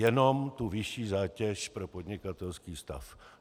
Jenom tu vyšší zátěž pro podnikatelský stav.